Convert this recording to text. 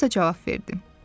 Alisa cavab verdi.